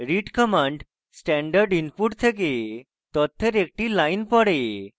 read command standard input থেকে তথ্যের একটি line পড়ে